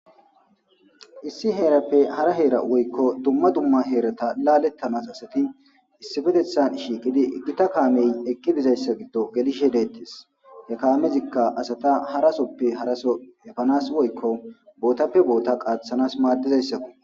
issi heerappe hara heera woykko dumma dumma heerata laalettanas asati issifetethan shiiqidi kaamey eqqi dizayssa giddo gelishe dettes he kaamezikka asata harasoppe haraso efanas woykko bootappe boota qaaththanas maaddizayssakko